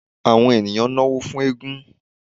awọn eníyan nọwọ fún égún